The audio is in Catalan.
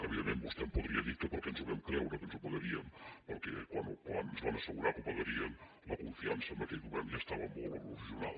evidentment vostè em podria dir que per què ens vam creure que ens ho pagarien perquè quan ens van assegurar que ho pagarien la confiança en aquell govern ja estava molt erosionada